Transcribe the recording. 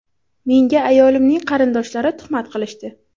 Menga ayolimning qarindoshlari tuhmat qilishdi.